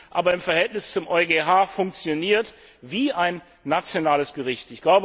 aber im Verhältnis zum EuGH funktioniert wie ein nationales Gericht.